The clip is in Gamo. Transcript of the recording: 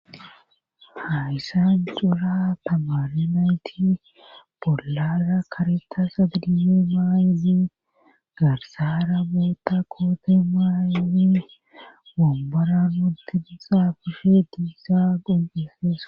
Hayssan cora tamare nayti bollara karetta ma'di maayizi garsara bootta koote maayi wambora utin xaafishshe dizayss qoncisees